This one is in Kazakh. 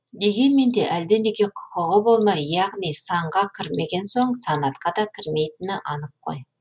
дегенмен де әлденеге құқығы болмай яғни санға кірмеген соң санатқа да кірмейтіні анық қой